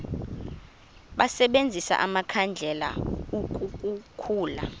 basebenzise amakhandlela ukukhulula